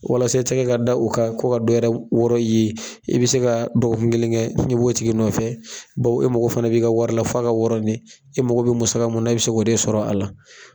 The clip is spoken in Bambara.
Walasa i tɛkɛ ka da o kan kɔ ka dɔwɛrɛ wɔrɔn i ye, i be se ka dɔgɔkun kelen kɛ i b'o tigi nɔfɛ e mago fana b'i ka wari la f'a ka wɔrɔn de, e mago be musaka mun na e be se k'o de sɔrɔ a la.